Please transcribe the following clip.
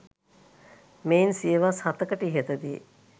මෙයින් සියවස් හතකට ඉහතදී.